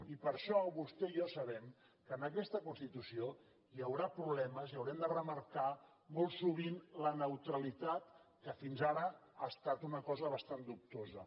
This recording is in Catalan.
i per això vostè i jo sabem que en aquesta constitució hi haurà problemes i haurem de remarcar molt sovint la neutralitat que fins ara ha estat una cosa bastant dubtosa